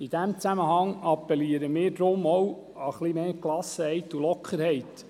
In diesem Zusammenhang appellieren wir auch an etwas mehr Gelassenheit und Lockerheit.